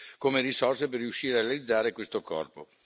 come risorse per riuscire a realizzare questo corpo.